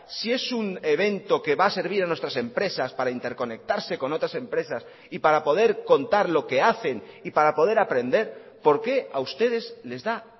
si es un evento que va a servir a nuestras empresas para interconectarse con otras empresas y para poder contar lo que hacen y para poder aprender por qué a ustedes les da